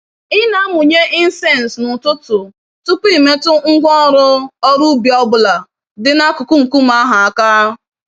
Ị na-amụnye incense n'ụtụtụ tupu i metụ ngwá ọrụ ọrụ ubi ọ bụla dị n'akụkụ nkume ahụ àkà